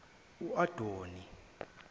uadoni